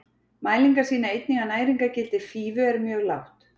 Mælingar sýna einnig að næringargildi fífu er mjög lágt.